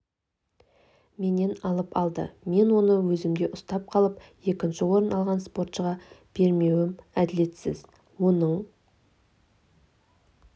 менен алып алды мен оны өзімде ұстап қалып екінші орын алған спортшыға бермеуім әділетсіз оның